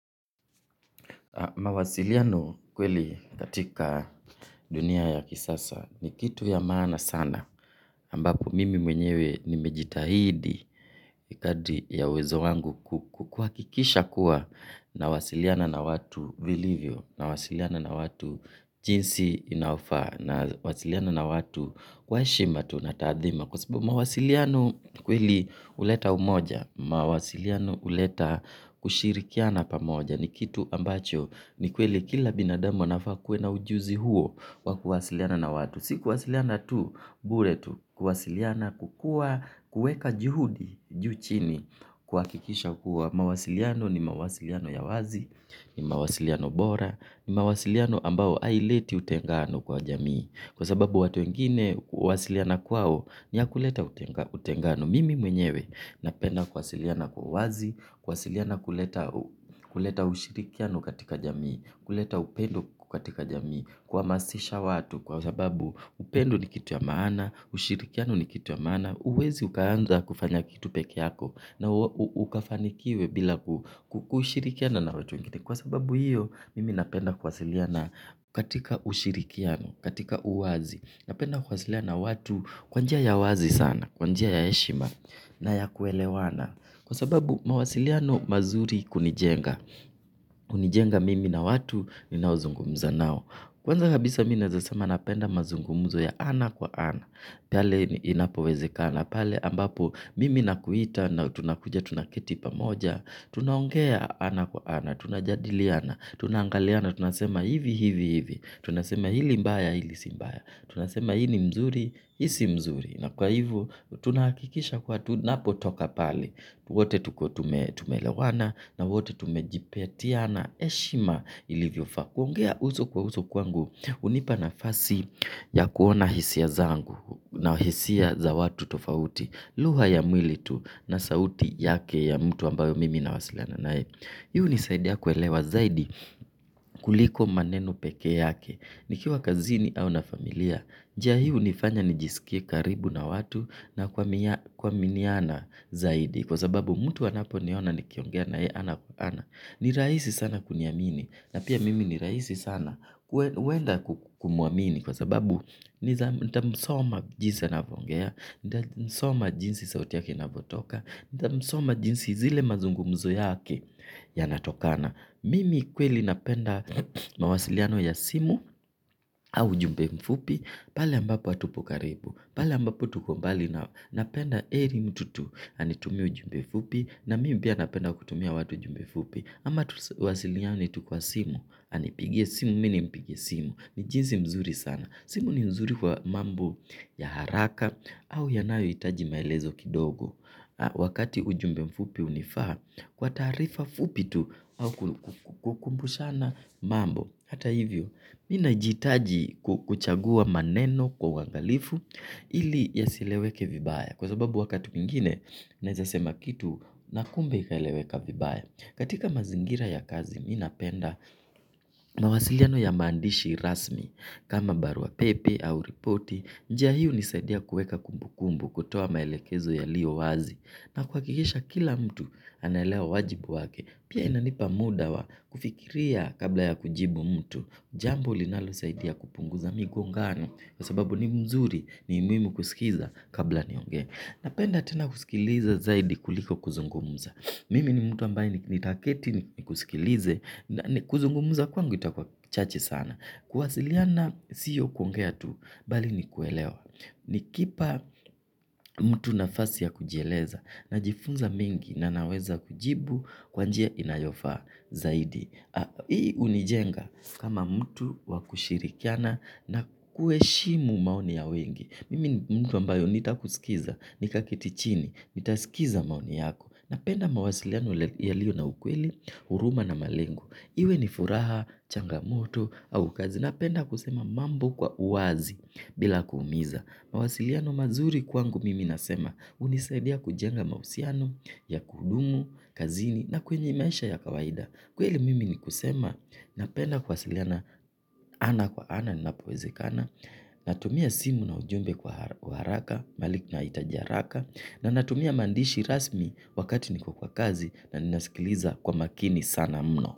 Mawasiliano kweli katika dunia ya kisasa ni kitu ya maana sana ambpo mimi mwenyewe nimejitahidi. Kadri ya uwezo wangu kuhakikisha kuwa nawasiliana na watu vilivyo, nawasiliana na watu jinsi inafaa, nawasiliana na watu kwa heshima tu na taadhima. Kwa sababu mawasiliano kweli huleta umoja, mawasiliano huleta kushirikiana pamoja. Ni kitu ambacho ni kweli kila binadamu anafaa akuwe na ujuzi huo wa kuwasiliana na watu. Si kuwasiliana tu, bure tu kuwasiliana, kukua, kuweka juhudi, juu chini, kuhakikisha kuwa mawasiliano ni mawasiliano ya wazi, ni mawasiliano bora, ni mawasiliano ambayo haileti utengano kwa jamii. Kwa sababu watu wengine kuwasiliana kwao ni ya kuleta utengano. Mimi mwenyewe napenda kuwasiliana kwa uwazi, kuwasiliana kuleta kuleta ushirikiano katika jamii, kuleta upendo katika jamii, kuhamasisha watu. Kwa sababu upendo ni kitu ya maana, ushirikiano ni kitu ya maana, huwezi ukaanza kufanya kitu peke yako na ukafanikiwe bila kushirikiana na watu wengine. Kwa sababu hiyo, mimi napenda kuwasiliana katika ushirikiano, katika uwazi. Napenda kuwasiliana na watu kwa njia ya wazi sana, kwa njia ya heshima na ya kuelewana. Kwa sababu, mawasiliano mazuri kunijenga. Hunijenga mimi na watu ninaozungumza nao. Kwanza kabisa mi naeza sema napenda mazungumuzo ya ana kwa ana. Pale inapowezekana pale ambapo mimi nakuita na tunakuja tunaketi pamoja. Tunaongea ana kwa ana, tunajadiliana, tunaangaliana, tunasema hivi, hivi, hivi. Tunasema hili mbaya, hili si mbaya. Tunasema hii ni mzuri, hii si mzuri. Na kwa hivo tunahakikisha kuwa tunapotoka pale, wote tukue tume tumeelewana na wote tumejipatiana heshima ilivyofaa. Kuongea uso kwa uso kwangu hunipa nafasi ya kuona hisia zangu na hisia za watu tofauti. Lugha ya mwili tu na sauti yake ya mtu ambayo mimi nawasiliana naye. Hii hunisaidia kuelewa zaidi kuliko maneno peke yake. Nikiwa kazini au na familia, njia hii hunifanya nijisikie karibu na watu na kuaminiana zaidi kwa sababu mtu anaponiona nikiongea na yeye ana kwa ana ni rahisi sana kuniamini na pia mimi ni rahisi sana kuenda kumwamini kwa sababu nitamsoma jinsi anapoongea, nitamsoma jinsi sauti yake inavyotoka, nitamsoma jinsi zile mazungumzo yake yanatokana. Mimi kweli napenda mawasiliano ya simu au ujumbe mfupi pale ambapo hatupo karibu. Pale ambapo tuko mbali napenda heri mtu tu anitumie ujumbe fupi. Na mimi pia napenda kutumia watu jumbe fupi. Ama tuwasiliane tu kwa simu. Anipigie simu, mi nimpigie simu. Ni jinsi mzuri sana. Simu ni nzuri kwa mambo ya haraka au yanayohitaji maelezo kidogo. Wakati ujumbe mfupi hunifaa kwa taarifa fupi tu au kukumbushana mambo. Hata hivyo mi najihitaji kuchagua maneno kwa uangalifu ili yasieleweke vibaya kwa sababu wakati mwingine, naeza sema kitu na kumbe ikaeleweka vibaya. Katika mazingira ya kazi mi napenda mawasiliano ya maandishi rasmi kama barua pepe au ripoti. Njia hii hunisaidia kuweka kumbukumbu, kutoa maelekezo yalio wazi na kuhakikisha kila mtu anaelewa wajibu wake. Pia inanipa muda wa kufikiria kabla ya kujibu mtu. Jambo linalosaidia kupunguza migongano kwa sababu ni mzuri, ni muhimu kusikiza kabla niongee. Napenda tena kusikiliza zaidi kuliko kuzungumza. Mimi ni mtu ambaye nitaketi nikusikilize. Kuzungumza kwangu itakuwa chache sana. Kuwasiliana sio kuongea tu bali ni kuelewa. Nikipa mtu nafasi ya kujieleza najifunza mengi na naweza kujibu kwa njia inayofaa zaidi. Hii hunijenga kama mtu wa kushirikiana na kuheshimu maoni ya wengi. Mimi ni mtu ambaye nitakusikiza, nikaketi chini, nitaskiza maoni yako. Napenda mawasiliano yaliyo na ukweli, huruma na malengo. Iwe ni furaha, changamoto, au kazi. Napenda kusema mambo kwa uwazi. Bila kuumiza. Mawasiliano mazuri kwangu mimi nasema, hunisaidia kujenga mahusiano ya kudumu kazini na kwenye maisha ya kawaida. Kweli mimi ni kusema, napenda kuwasiliana ana kwa ana linapowezekana, natumia simu na ujumbe kwa haraka, mahali nahitaji haraka, na natumia maandishi rasmi wakati niko kwa kazi na ninasikiliza kwa makini sana mno.